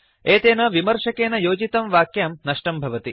एतेन विमर्शकेन योजितं वाक्यं नष्टं भवति